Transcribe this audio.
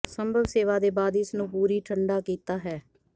ਸੰਭਵ ਸੇਵਾ ਦੇ ਬਾਅਦ ਇਸ ਨੂੰ ਪੂਰੀ ਠੰਢਾ ਕੀਤਾ ਹੈ